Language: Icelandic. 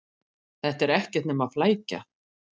Þetta er ekkert nema flækja.